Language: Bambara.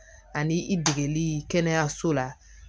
Ani i degeli kɛnɛyaso la